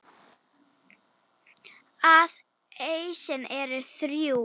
að essin eru þrjú!